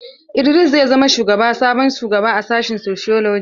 Idris zai zamo sabon shugaba a sashin sociology.